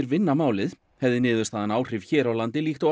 vinna málið hefði niðurstaðan áhrif hér á landi líkt og